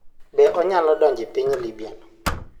Be onyalo donjo e piny libya no?